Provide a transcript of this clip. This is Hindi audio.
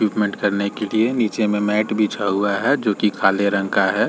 करने के लिए नीचे में मैट बिछा हुआ है जो कि काले रंग का है।